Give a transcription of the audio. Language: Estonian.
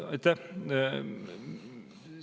Aitäh!